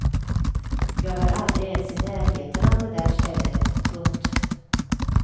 Jag var aldrig ens i närheten av det där stället. punkt